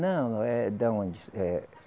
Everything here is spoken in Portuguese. Não, é da onde? Eh